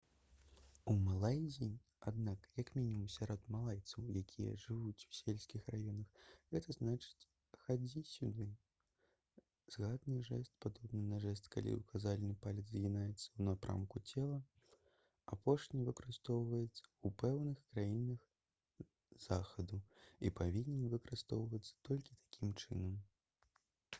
у малайзіі аднак як мінімум сярод малайцаў якія жывуць у сельскіх раёнах гэта значыць «хадзі сюды». згаданы жэст падобны на жэст калі ўказальны палец згінаецца ў напрамку цела. апошні выкарыстоўваецца ў пэўных краінах захаду і павінен выкарыстоўвацца толькі такім чынам